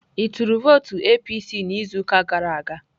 Ị tụrụ vootu pati APC n'izuụka gara aga?